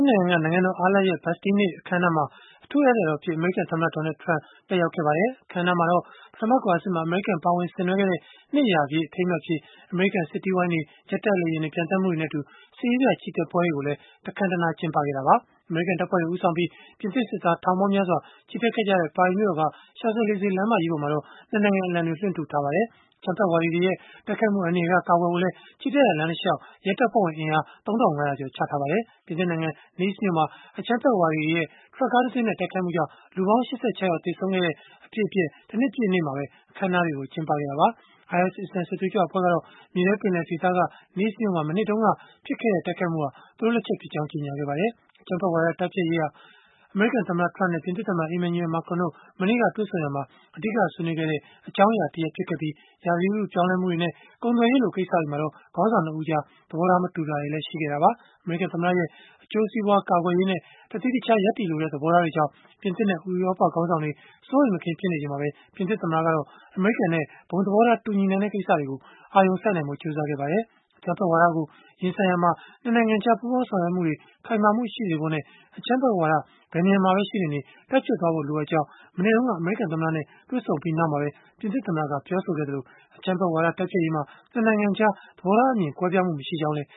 ်ငံက နိုင်ငံတော်အားလပ်ရက် Bastille နေ့ အခမ်းအနားမှာ အထူးဧည့်သည်တော်အဖြစ် အမေရိကန်သမ္မတ Donald Trump တက်ရောက်ခဲ့ပါတယ်။ အခမ်းအနားမှာတော့ ပထမကမ္ဘာစစ်မှာ အမေရိကန် ပါဝင်ဆင်နွှဲခဲ့တဲ့ နှစ်ရာပြည့် အထိမ်းအမှတ်အဖြစ် အမေရိကန် စစ်တီးဝိုင်းတွေ ဂျက်တိုက်လေယာဉ်တွေ ပျံသန်းမှုတွေနဲ့အတူ စစ်ရေးပြ ချီတက်ပွဲတွေကိုလည်း တခမ်းတနား ကျင်းပခဲ့တာပါ။ အမေရိကန် တပ်ဖွဲ့တွေ ဦးဆောင်ပြီး ပြင်သစ်စစ်သားထောင်ပေါင်းများစွာ ချီတက်ခဲ့ကြတဲ့ ပါရီမြို့တော်က Champs Élysées လမ်းမကြီးပေါ်မှာတော့ ၂ နိုင်ငံ အလံတွေ လွှင့်ထူထားပါတယ်။ အကြမ်းဖက်ဝါဒီတွေရဲ့ တိုက်ခိုက်မှု အန္တရာယ်က ကာကွယ်ဖို့လည်း ချီတက်ရာလမ်းတလျှောက် ရဲတပ်ဖွဲ့ဝင် အင်အား ၃၅၀၀ ကျော် ချထားပါတယ်။ ပြင်သစ်နိုင်ငံ Nice မြို့မှာ အကြမ်းဖက်ဝါဒီတွေရဲ့ ထရပ်ကားတစင်းနဲ့ တိုက်ခိုက်မှုကြောင့် လူပေါင်း ၈၆ ယောက် သေဆုံးခဲ့တဲ့ အဖြစ်အပျက် တနှစ်ပြည့်နေ့မှာပဲ အခမ်းအနားတွေကို ကျင်းပခဲ့ကြတာပါ။ IS အစ္စလာမ်စစ်သွေးကြွ အဖွဲ့ကတော့ မြေထဲပင်လယ်ဒေသက Nice မြို့မှာ မနှစ်တုန်းက ဖြစ်ခဲ့တဲ့ တိုက်ခိုက်မှုဟာ သူတို့လက်ချက်ဖြစ်ကြောင်း ကြေညာခဲ့ပါတယ်။ အကြမ်းဖက်ဝါဒ တိုက်ဖျက်ရေး ကိစ္စဟာ အမေရိကန်သမ္မတ Trump နဲ့ ပြင်သစ်သမ္မတ Emmanuel Macron တို့ မနေ့က တွေ့ဆုံရာမှာ အဓိကဆွေးနွေးခဲ့တဲ့ အကြောင်းအရာတရပ် ဖြစ်ခဲ့ပြီး၊ ရာသီဥတုပြောင်းလဲမှုတွေနဲ့ ကုန်သွယ်ရေးလို ကိစ္စတွေမှာတော့ ခေါင်းဆောင် ၂ ဦးကြား သဘောထား မတူတာတွေလည်း ရှိခဲ့တာပါ။ အမေရိကန်သမ္မတရဲ့ အကျိုးစီးပွားကာကွယ်ရေးနဲ့ တသီးတခြား ရပ်တည်လိုတဲ့ သဘောထားတွေကြောင့် ပြင်သစ်နဲ့ ဥရောပခေါင်းဆောင်တွေ စိုးရိမ်မကင်း ဖြစ်နေချိန်မှာပဲ၊ ပြင်သစ်သမ္မတကတော့ အမေရိကန်နဲ့ ဘုံသဘောထား တူညီနိုင်တဲ့ ကိစ္စတွေကို အာရုံစိုက်နိုင်ဖို့ ကြိုးစားခဲ့ပါတယ်။ အကြမ်းဖက်ဝါဒကို ရင်ဆိုင်ရာမှာ ၂ နိုင်ငံကြား ပူးပေါင်းဆောင်ရွက်မှုတွေ ခိုင်မာမှုရှိဖို့နဲ့ အကြမ်းဖက်ဝါဒ ဘယ်နေရာမှာပဲ ရှိနေနေ တိုက်ဖျက်သွားဖို့ လိုအပ်ကြောင်း မနေ့တုန်းက အမေရိကန်သမ္မတနဲ့ တွေ့ဆုံပြီးနောက်မှာပဲ ပြင်သစ်သမ္မတက ပြောဆိုခဲ့တာပါ။ အကြမ်းဖက်ဝါဒ တိုက်ဖျက်ရေးမှာ အမေရိကန်နဲ့ ပြင်သစ် ၂ နိုင်ငံကြား သဘောထားအမြင် ကွဲပြားမှု မရှိကြောင်းလည်း